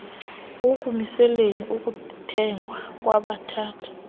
ekumiseleni ukuthengwa kwabathatha